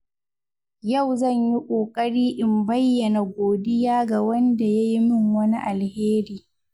Yau zan yi kokari in bayyana godiya ga wanda ya yi min wani alheri.